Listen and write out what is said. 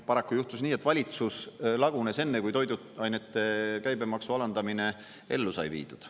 Paraku juhtus nii, et valitsus lagunes enne, kui toiduainete käibemaksu alandamine ellu sai viidud.